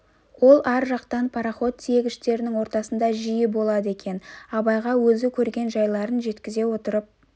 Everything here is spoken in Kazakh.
ол ар жақтан пароход тиегіштерінің ортасында жиі болады екен абайға өзі көрген жайларын жеткізе отырып